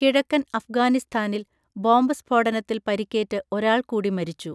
കിഴക്കൻ അഫ്ഗാനിസ്ഥാനിൽ ബോംബ് സ്‌ഫോടനത്തിൽ പരിക്കേറ്റ് ഒരാൾ കൂടി മരിച്ചു.